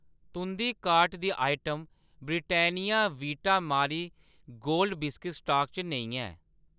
तुंʼदी कार्ट दी item Britannia Vita Marie Gold बिस्कुटें स्टाक च नेईं ऐ